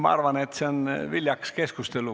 Ma arvan, et see on viljakas keskustelu.